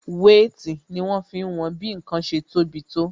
Wéètì ni wọn fi ń wọn bí ǹkan ṣe tó bi tó